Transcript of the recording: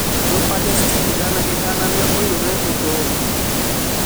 Jo Palestin gana gi gana ne yudore e tong`